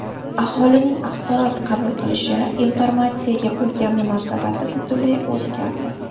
Aholining axborot qabul qilishi, informatsiyaga bo‘lgan munosabati butunlay o‘zgardi.